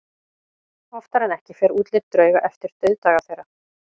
Oftar en ekki fer útlit drauga eftir dauðdaga þeirra.